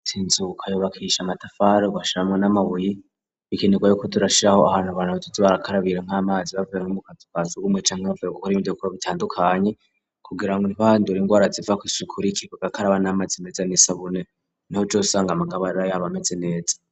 Inzu uko yubakishwa amatafari bashiramo n'amabuyi bikenerwa ko turashiraho ahantu abantu bazoja barakarabira nk'amazi bavuye mukazu ka sugumwe canke bavuye gukora ibikogwa bitandukanye kugira ngo ntibandure indwara ziva kw,isuku rike bakaraba n'amazi meza n'isabune niho uzosanga amagara yabo aba ameze neza.